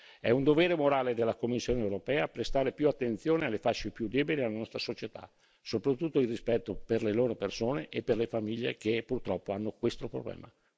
È un dovere morale della Commissione europea prestare più attenzione alle fasce più deboli della nostra società, soprattutto il rispetto per le loro persone e per le famiglie che purtroppo hanno questo problema.